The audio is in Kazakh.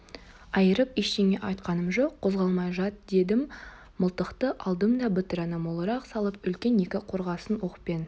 айырып ештеңе айтқаным жоқ қозғалмай жат дедім мылтықты алдым да бытыраны молырақ салып үлкен екі қорғасын оқпен